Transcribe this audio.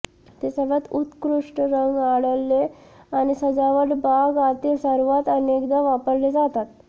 ते सर्वात उत्कृष्ट रंग आढळले आणि सजावट बाग आतील सर्वात अनेकदा वापरले जातात